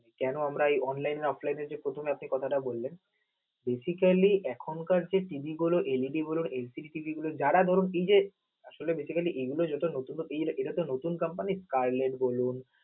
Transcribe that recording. কেন আমরা এই online offline এ প্রথমে যে কথাটা বললেন basically এখন কার যে TV গুলো LEDLCB যারা ধরুন এই যে, basically আসলে এইটা নতুন company carless বলুন